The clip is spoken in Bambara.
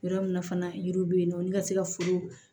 Yɔrɔ min na fana yiri bɛ ye nɔ olu ka se ka foro